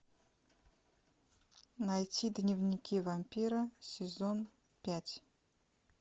найти дневники вампира сезон пять